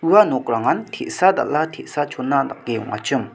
ua nokrangan te·sa dal·a te·sa chona dake ong·achim.